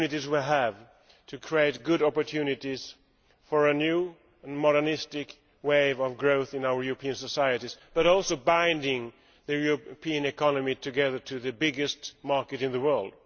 we have to create good opportunities for a new and modernistic wave of growth in our European societies but also to bind the European economy together to the biggest market in the world.